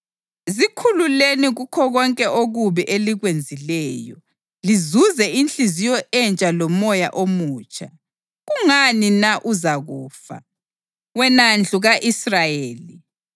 Zikhululeni kukho konke okubi elikwenzileyo, lizuze inhliziyo entsha lomoya omutsha. Kungani na uzakufa, wena ndlu ka-Israyeli?